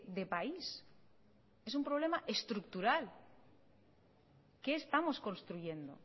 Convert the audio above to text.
de país es un problema estructural qué estamos construyendo